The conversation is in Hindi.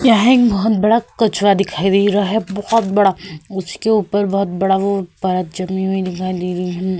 यहाँ बोहोत बड़ा कचरा दिखाई दे रहा है बोहोत बड़ा। उसके ऊपर बोहोत बड़ा वो परत जमी हुई दिखाई दे रही है।